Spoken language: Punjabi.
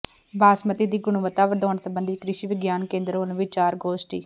ਬਾਸਮਤੀ ਦੀ ਗੁਣਵੱਤਾ ਵਧਾਉਣ ਸਬੰਧੀ ਕ੍ਰਿਸ਼ੀ ਵਿਗਿਆਨ ਕੇਂਦਰ ਵੱਲੋਂ ਵਿਚਾਰ ਗੋਸ਼ਟੀ